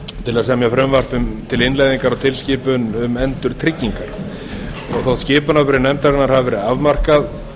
til þess að semja frumvarp til innleiðingar á tilskipun um endurtryggingar þótt skipunarbréf nefndarinnar hafi afmarkað